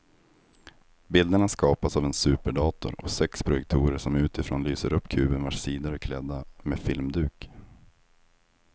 Bilderna skapas av en superdator och sex projektorer som utifrån lyser upp kuben vars sidor är klädda med filmduk.